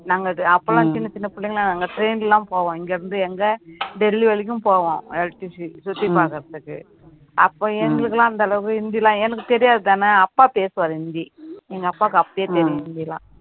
நாங்க அது அப்போ எல்லாம் சின்ன சின்ன பிள்ளைங்க எல்லாம் நாங்க train எல்லாம் போவோம் இங்க இருந்து எங்க டெல்லி வரைக்கும் போவோம் சுத்தி பாக்குறதுக்கு அப்ப எங்களுக்கு எல்லாம் அந்த அளவுக்கு ஹிந்தி எல்லாம் எனக்கு தெரியாதுதானே அப்பா பேசுவார் ஹிந்தி எங்க அப்பாவுக்கு அப்பயே தெரியும் ஹிந்திலாம்